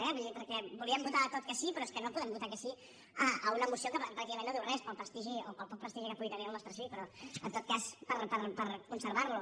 vull dir perquè volíem votar a tot que sí però és que no podem votar que sí a una moció que pràcticament no diu res pel prestigi o pel poc prestigi que pugui tenir el nostre sí però en tot cas per conservar lo